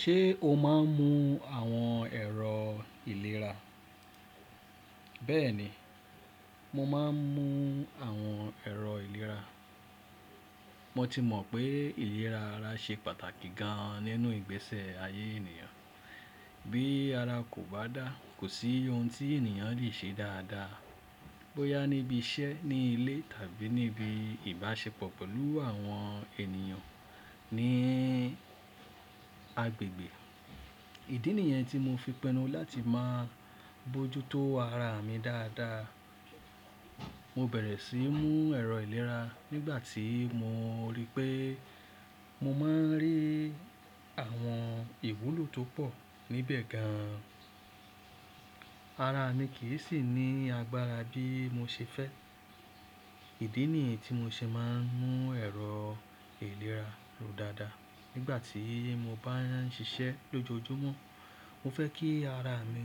Ṣé o máa ń mu àwọn ẹ̀rọ ìlera? Bẹ́ẹ̀ni, mo máa ń mu àwọn ẹ̀rọ ìlera. Mo ti mọ̀ pé ìlera ara ṣe pàtàkì gan nínú ìgbésẹ ayé ènìyàn. Bí ara kò bá dá, kò sí ohun tí ènìyàn le ṣe dáadáa. Bo yá níbi iṣẹ́, ní ilé tàbí níbi ìbáṣepọ̀ pẹ̀lú àwọn ènìyàn ní agbègbè. Ìdí nìyẹn tí mo fi pinu láti máa bojútó ara mi dáadáa. Mo bẹ̀rẹ̀ síí mú ẹ̀rọ ìlera nígbà tí mo rí pé mo máa ń rí àwọn ìwúlò tó pọ̀ níbẹ̀ gan. Ara mi kì í sì ní agbára bí mo ṣe fẹ́. Ìdí nìyẹn tí mo ṣe máa ń mú ẹ̀rọ ìlera ló dáadáa. Nígbà tí mo bá ń ṣiṣẹ́ lójoojúmọ́, mo fẹ́ kí ara mi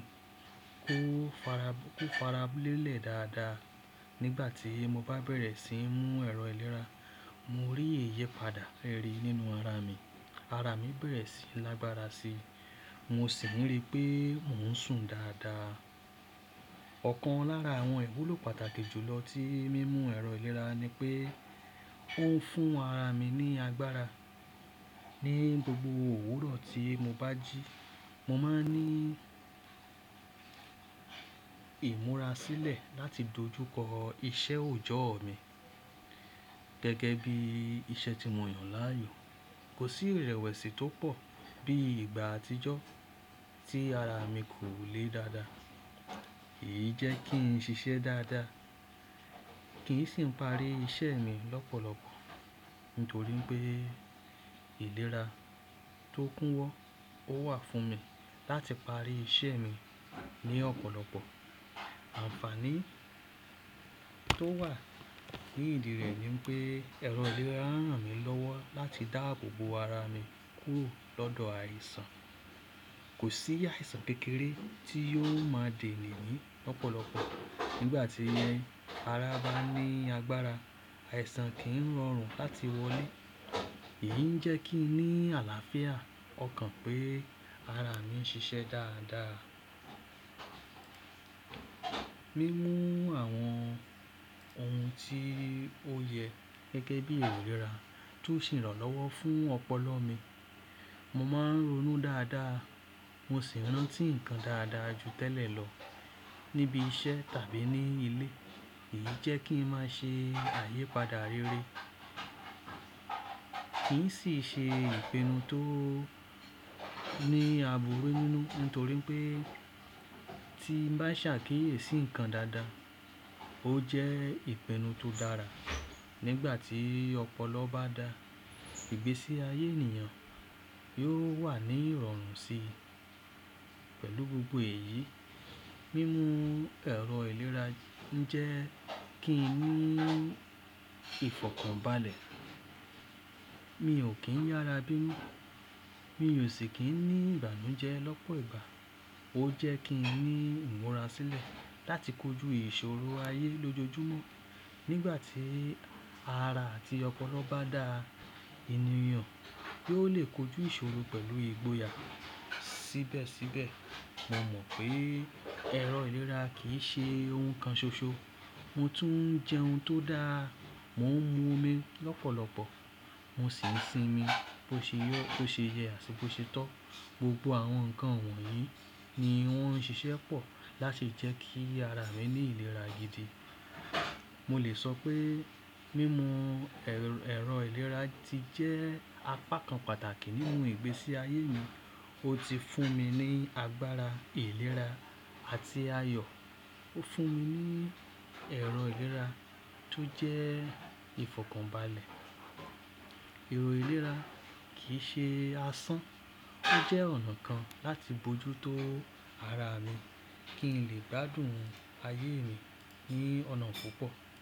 kó farab-- kó farabalẹ̀ dáadáa. Nígbà tí mo bá bẹ̀rẹ̀ sí ń mú ẹ̀rọ ìlera, mo rí ìyipadà rere nínú ara mi. Ara mi bẹ̀rẹ̀ sí lágbára síi. Mo sì ń rí pé mò ń sùn dáadáa. Ọ̀kan lára àwọn ìwúlò pàtàkì jù lọ tí mímu ẹ̀rọ ìlera ni pé ó ń fún ara mi ní agbára. Ni gbogbo òwúrọ̀ tí mo bá jí, mo máa ń ní ìmúra sílẹ̀ láti dojúkọ iṣẹ́ òjọ́ mi. Gẹ́gẹ́ bí iṣẹ́ tí mo yàn láàyò, kò sí ìrẹ̀wẹ̀sì tó pọ̀ bí ìgbà àtijọ́ tí ara mi kò lé dáadáa. Èyí jẹ́ kí n ṣiṣẹ́ dáadáa, kí n sì parí iṣẹ́ mi lọ́pọ̀lọpọ̀. Nítorí pé ìlera tó kúnwọ́ ó wà fún mi láti parí iṣẹ́ mi ní ọ̀pọ̀lọpọ̀. Àǹfààní tó wà ní ìdí rẹ̀ ni pé ẹ̀rọ ìlera rán mi lọ́wọ́ láti dá gbogbo ara mi kúrò lọ́dọ̀ àìsàn. Kò sí àìsàn kékeré tí yóò máa dènì ní lọ́pọ̀lọpọ̀. Nígbà tí ara bá ní agbára, àìsàn kìí rọrùn láti wọlé. Èyí ń jẹ́ kí n ní àlàáfíà. Ó kan pé ara mi ń ṣiṣẹ́ dáadáa. Mimu àwọn ohun tí ó yẹ gẹ́gẹ́ bí ìlera tó n sè irànlọ́wọ́ fún ọpọlọ mi. Mo máa ń ronú dáadáa. Mo sì ń rántí nǹkan dáadáa ju tẹ́lẹ̀ lọ níbi iṣẹ́ tàbí ní ilé. Èyí jẹ́ kí ń máa ṣe ayípadà rere. Kì í sì ṣe ìpinnu tó ní àbúrú nínú, nítorí pé tí ń bá ṣàkíyèsí nǹkan dáadáa, ó jẹ́ ìpinnu tó dára. Nígbà tí ọpọlọ bá da ìgbésí ayé ènìyàn, yóò wà ní ìrọ̀rùn síi. Pẹ̀lú gbogbo èyí, mímu ẹ̀rọ ìlera ń jẹ́ kí n ní ìfọ̀kànbalẹ̀. Mi ò kín yára bínú. Mi ò sì kín ní ìbànújẹ́ lọ́pọ̀ ìgbà. Ó jẹ́ kí n ní ìmúra sílẹ̀ láti kojú ìṣòro ayé lójoojúmọ́. Nígbà tí ara àti ọpọlọ bá da, ènìyàn yóò lè kojú ìṣòro pẹ̀lú ìgboyà síbẹ̀síbẹ̀. Mo mọ̀ pé ẹ̀rọ ìlera kì í ṣe ohun kan ṣoṣo. Mo tún ń jẹ ohun tó dàà. Mò ń mu omi lọ́pọ̀lọpọ̀. Mo sì ń sinmi bó ṣe yóò-- bó ṣe yẹ àti bó ṣe tọ́. Gbogbo àwọn nǹkan wọ̀nyí ni wọ́n ń ṣiṣẹ́ pọ̀ láti jẹ́ kí ara mi ní ìlera gidi. Mo lè sọ pé mímu ẹ̀rọ ìlera ti jẹ́ apá kan pàtàkì nínú ìgbésí ayé mi. Ó ti fún mi ní agbára ìlera àti ayọ̀. Ó fún mi ní ẹ̀rọ ìlera tó jẹ́ ìfọ̀kànbalẹ̀. Ẹ̀rọ ìlera kì í ṣe asán, ó jẹ́ ọ̀nà kan láti bojútó ara mi kí n lè gbádùn ayé mi ní ọ̀nà púpọ̀.